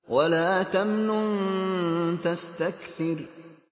وَلَا تَمْنُن تَسْتَكْثِرُ